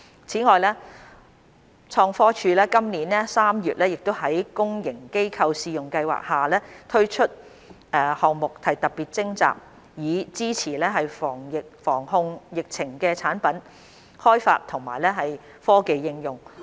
此外，創科署今年3月在公營機構試用計劃下推出項目特別徵集，以支持防控疫情的產品開發和科技應用。